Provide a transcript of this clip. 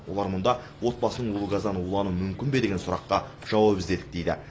олар мұнда отбасының улы газдан улануы мүмкін бе деген сұраққа жауап іздедік дейді